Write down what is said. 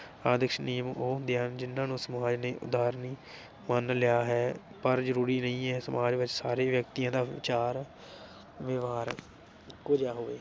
ਆਦਰਸ਼ ਨਿਯਮ ਉਹ ਹੁੰਦੇ ਹਨ ਜਿਨ੍ਹਾਂ ਨੂੰ ਸਮਾਜ ਦੇ ਉਦਾਰ ਨੀ ਮੰਨ ਲਿਆ ਹੈ ਪਰ ਜਰੂਰੀ ਨਹੀਂ ਇਹ ਸਮਾਜ ਵਿਚ ਸਾਰੇ ਵਿਅਕਤੀਆਂ ਦਾ ਵਿਚਾਰ ਵਿਵਹਾਰ ਇਕੋ ਜਿਹਾ ਹੋਵੇ।